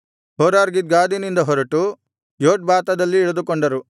ಹೋರ್ಹಗಿದ್ಗಾದಿನಿಂದ ಹೊರಟು ಯೊಟ್ಬಾತದಲ್ಲಿ ಇಳಿದುಕೊಂಡರು